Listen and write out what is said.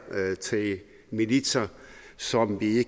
til militser som vi